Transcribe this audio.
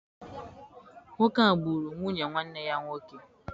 Nwoke a gburu nwunye nwanne ya nwoke.